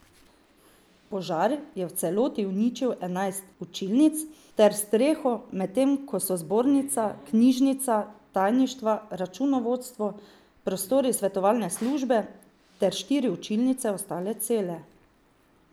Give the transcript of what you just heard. Požar je v celoti uničil enajst učilnic ter streho, medtem ko so zbornica, knjižnica, tajništva, računovodstvo, prostori svetovalne službe ter štiri učilnice ostale cele.